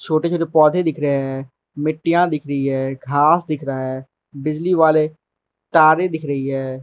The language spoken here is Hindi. छोटे छोटे पौधे दिख रहे हैं मिट्टियां दिख रही है घास दिख रहा है बिजली वाले तारें दिख रही हैं।